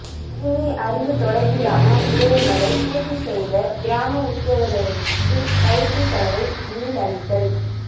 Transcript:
கணனி அறிவு தொடர்பிலான விடயங்களை பூர்த்தி செய்த கிராம உத்தியோகத்தர்களுக்கு பயிற்சி செலவை மீள் அளித்தல்